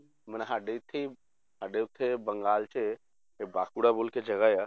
ਮਨੇ ਸਾਡੇ ਇੱਥੇ ਸਾਡੇ ਇੱਥੇ ਬੰਗਾਲ 'ਚ ਇਹ ਬਾਕੁੜਾ ਬੋਲ ਕੇ ਜਗ੍ਹਾ ਆ